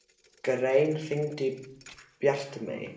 Grein, hringdu í Bjartmey.